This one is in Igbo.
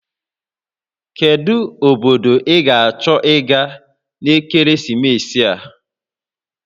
Kedu obodo ị ga-achọ ịga n'ekeresimesi a?